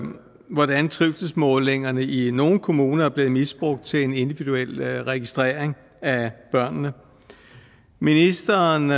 hvordan trivselsmålingerne i nogle kommuner er blevet misbrugt til en individuel registrering af børnene ministeren